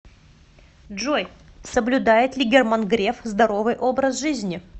джой соблюдает ли герман греф здоровый образ жизни